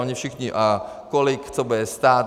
Oni všichni - a kolik co bude stát?